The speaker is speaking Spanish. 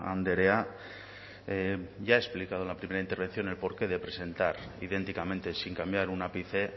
andrea ya he explicado en la primera intervención el porqué de presentar idénticamente sin cambiar un ápice